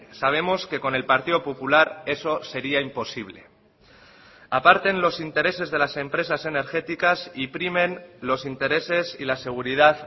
sabemos que con el partido popular eso sería imposible aparte en los intereses de las empresas energéticas y primen los intereses y la seguridad